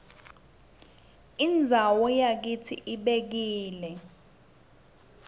indzawo yakitsi ibekile